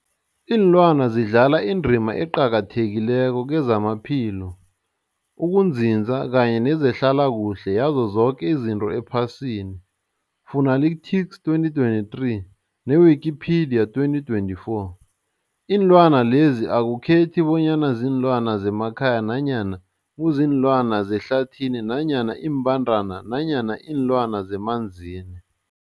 Ilwana zidlala indima eqakathekileko kezamaphilo, ukunzinza kanye nezehlala kuhle yazo zoke izinto ephasini, Fuanalytics 2023, ne-Wikipedia 2024. Iinlwana lezi akukhethi bonyana ziinlwana zemakhaya nanyana kuziinlwana zehlathini nanyana iimbandana nanyana iinlwana zemanzini.